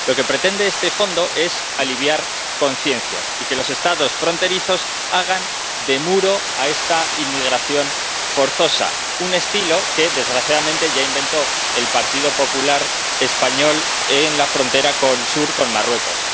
Lo que pretende este Fondo es aliviar conciencias y que los Estados fronterizos hagan de muro a esta inmigración forzosa, un estilo que, desgraciadamente, ya inventó el Partido Popular español en la frontera sur con Marruecos.